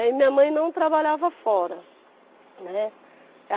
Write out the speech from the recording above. E aí minha mãe não trabalhava fora, né.